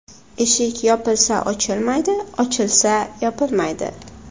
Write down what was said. Eshik yopilsa ochilmaydi, ochilsa yopilmaydi.